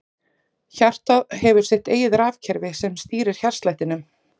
Hjartað hefur sitt eigið rafkerfi sem stýrir hjartslættinum.